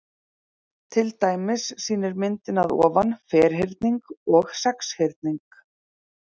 Til dæmis sýnir myndin að ofan ferhyrning og sexhyrning.